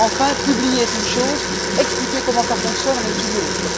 Enfin, publier est une chose, expliquer comment ça fonctionne en est une autre!